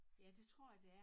Ja det tror jeg det er